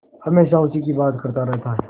हमेशा उसी की बात करता रहता है